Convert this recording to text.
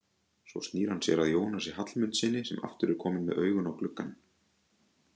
Svo snýr hann sér að Jónasi Hallmundssyni sem aftur er kominn með augun á gluggann.